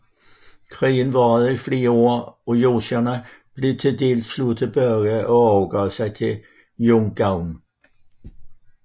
Krigen varede i flere år og jurchenerne blev til sidst slået tilbage og overgav sig til Yun Gwan